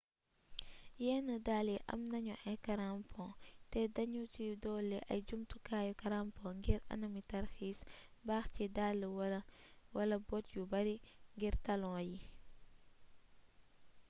yenn dàll yi am nañu ay karampon te de nu ci dolli ay jumtukaayu karampong ngir anami tarxiiis baax ci dàll wala bott yu bari ngir taloon yi